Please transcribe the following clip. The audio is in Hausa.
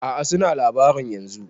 A'a suna labarin yanzun